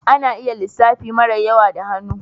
Ana iya lissafi mara yawa da hannu